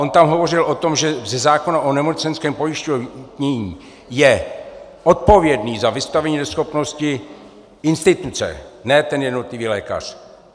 On tam hovořil o tom, že ze zákona o nemocenském pojištění je odpovědná za vystavení neschopnosti instituce, ne ten jednotlivý lékař.